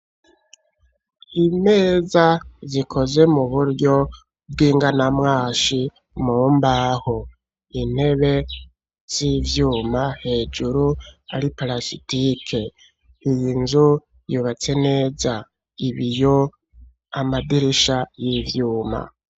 Imeza, zikoze mu buryo bw'inganamwashi, mu mbaho; intebe z'ivyuma, hejuru ari parasitike; iyi nzu, yubatse neza, ibiyo, amadirisha y'ivyuma.